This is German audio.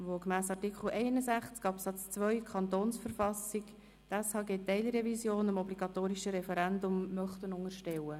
Er möchte die SHG-Teilrevision aufgrund von Artikel 61 Absatz 2 der Verfassung des Kantons Bern (KV) dem obligatorischen Referendum unterstellen.